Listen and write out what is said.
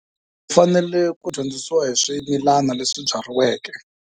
U fanele ku dyondzisiwa hi swimilana leswi byariweke.